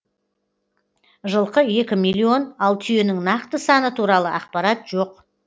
жылқы екі миллион ал түйенің нақты саны туралы ақпарат жоқ